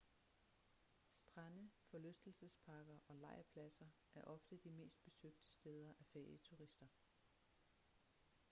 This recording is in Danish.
strande forlystelsesparker og lejrpladser er ofte de mest besøgte steder af ferieturister